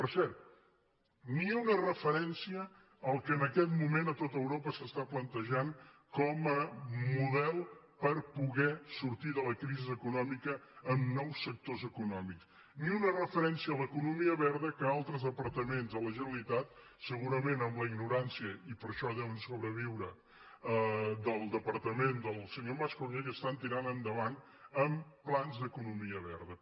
per cert ni una referència al que en aquest moment a tot europa s’està plantejant com a model per po·der sortir de la crisi econòmica en nous sectors eco·nòmics ni una referència a l’economia verda que al·tres departaments de la generalitat segurament amb la ignorància i per això deuen sobreviure del depar·tament del senyor mas·colell estan tirant endavant amb plans d’economia verda